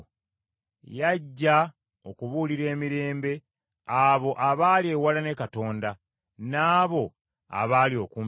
Yajja okubuulira emirembe abo abaali ewala ne Katonda, n’abo abaali okumpi naye.